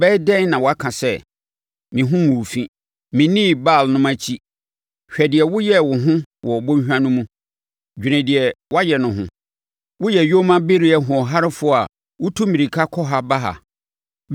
“Ɛbɛyɛ dɛn na woaka sɛ, ‘Meho nguu fi; mennii Baalnom akyi’? Hwɛ sɛdeɛ woyɛɛ wo ho wɔ bɔnhwa no mu; dwene deɛ woayɛ no ho. Woyɛ yoma bereɛ hoɔharefoɔ a wotu mmirika kɔ ha ba ha,